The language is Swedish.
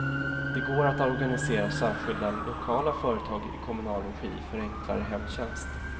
Det går att organisera särskilda lokala företag i kommunal regi för enklare hemtjänst.